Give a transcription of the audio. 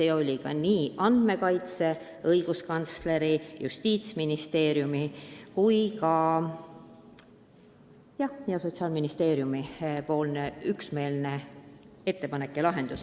See oli ka nii Andmekaitse Inspektsiooni, õiguskantsleri, Justiitsministeeriumi kui ka Sotsiaalministeeriumi üksmeelne ettepanek.